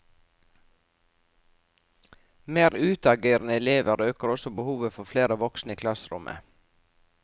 Mer utagerende elever øker også behovet for flere voksne i klasserommet.